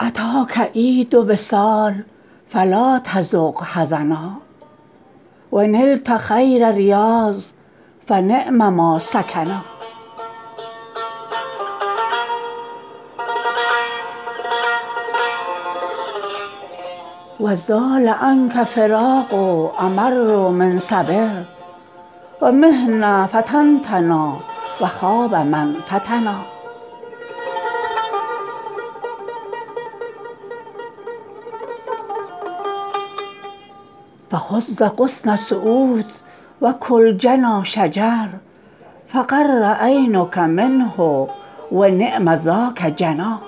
اتاک عید وصال فلا تذق حزنا و نلت خیر ریاض فنعم ما سکنا و زال عنک فراق امر من صبر و محنه فتنتنا و خاب من فتنا فهز غصن سعود و کل جنا شجر فقر عینک منه و نعم ذاک جنا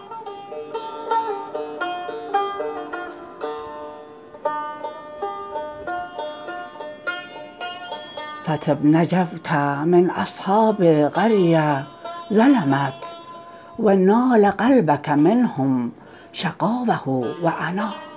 فطب تجوت من اصحاب قریه ظلمت و نال قلبک منهم شقاوه و عنا